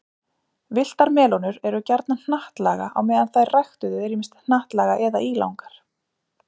Villtar melónur eru gjarnan hnattlaga á meðan þær ræktuðu eru ýmist hnattlaga eða ílangar.